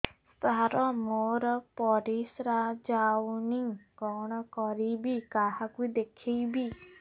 ସାର ମୋର ପରିସ୍ରା ଯାଉନି କଣ କରିବି କାହାକୁ ଦେଖେଇବି